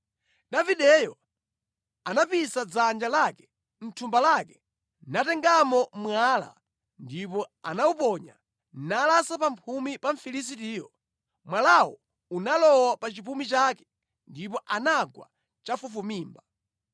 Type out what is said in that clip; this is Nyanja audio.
Davideyo anapisa dzanja lake mʼthumba lake natengamo mwala ndipo anawuponya, nalasa pa mphumi pa Mfilisitiyo. Mwalawo unalowa pa chipumi chake, ndipo anagwa chafufumimba.